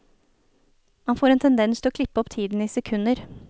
Man får en tendens til å klippe opp tiden i sekunder.